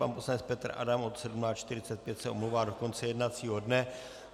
Pan poslanec Petr Adam od 17.45 se omlouvá do konce jednacího dne.